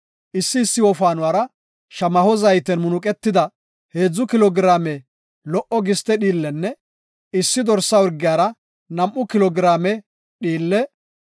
Issi issi wofaanuwara shamaho zayten munuqetida heedzu kilo giraame lo77o giste dhiille, issi dorsa urgiyara nam7u kilo giraame dhiillenne